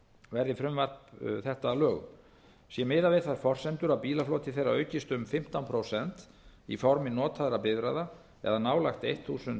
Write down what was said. verði frumvarp þetta að lögum sé miðað við þær forsendur að bílafloti þeirra aukist um fimmtán prósent í formi notaðra bifreiða eða um nálægt þúsund